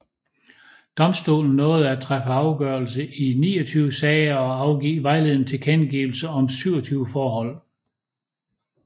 Domstolen nåede at træffe afgørelse i 29 sager og afgive vejledende tilkendegivelser om 27 forhold